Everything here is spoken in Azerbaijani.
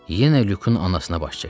Yenə Lyukun anasına baş çəkdim.